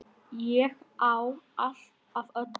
Ég á allt af öllu!